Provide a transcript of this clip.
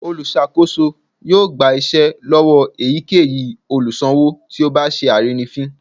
Olùsakoso yóò gba iṣẹ lọwọ eyikeyí olùsanwo tí o bá sẹ arínifín